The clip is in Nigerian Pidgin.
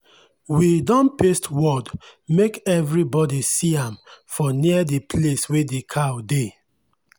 we don paste word make every body see am for near the place wey the cow dey.